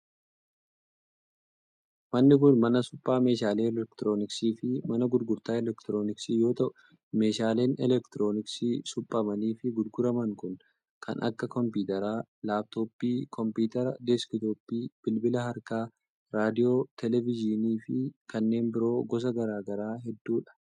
Manni kun mana suphaa meeshaalee elektirooniksii fi mana gurgurtaa elektirooniksii yoo ta'u, meeshaaleen elektirooniksii suphamanii fi gurguraman kun kan akka:kompiitara laaptooppii, kompiitara deesktooppii, bilbila harkaa, raadiyoo, teleevizyinii fi kanneen biroo gosa garaa garaa hedduu dha.